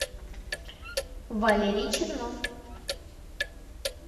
валерий чернов